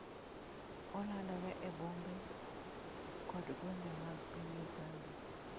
Olandore e bombe kod gwenge mag piny Uganda.